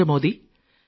നന്ദി